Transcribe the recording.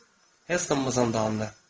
Heston, tamamlandı.